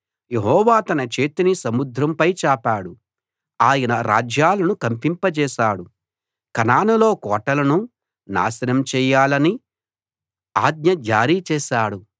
యెహోవా తన చేతిని సముద్రంపై చాపాడు ఆయన రాజ్యాలను కంపింపజేశాడు కనానులో కోటలను నాశనం చేయాలని ఆజ్ఞ జారీ చేశాడు